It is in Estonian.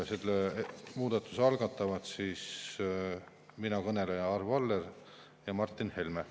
Selle muudatuse algatame mina ehk kõneleja Arvo Aller ja Martin Helme.